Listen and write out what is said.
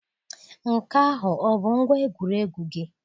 Nke ahụ ọ bụ ngwa egwuregwu gị?